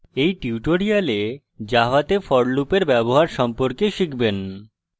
in tutorial জাভাতে for loop in ব্যবহার সম্পর্কে শিখবেন